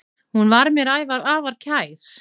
Hún var mér afar kær.